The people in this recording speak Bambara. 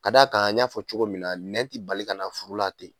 K'a d'a kan n y'a fɔ cogo min na nɛn ti bali kana furu la ten.